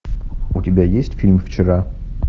у тебя есть фильм вчера